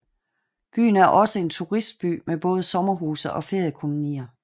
Byen er også en turistby med både sommerhuse og feriekolonier